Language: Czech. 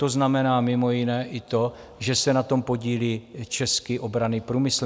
To znamená mimo jiné i to, že se na tom podílí český obranný průmysl.